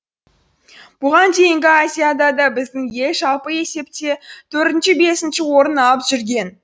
бұған дейінгі азиадада біздің ел жалпы есепте төртінші бесінші орын алып жүрген